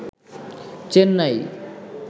Chennai